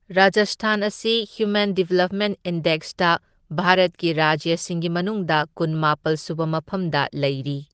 ꯔꯥꯖꯁꯊꯥꯟ ꯑꯁꯤ human development ꯏꯟꯗꯦꯛꯁꯇ ꯚꯥꯔꯠꯀꯤ ꯔꯥꯖ꯭ꯌꯁꯤꯡꯒꯤ ꯃꯅꯨꯡꯗ ꯀꯨꯟꯃꯥꯄꯜ ꯁꯨꯕ ꯃꯐꯝꯗ ꯂꯩꯔꯤ꯫